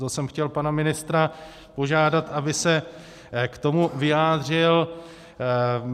To jsem chtěl pana ministra požádat, aby se k tomu vyjádřil.